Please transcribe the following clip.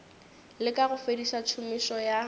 leka go fediša tšhomišo ya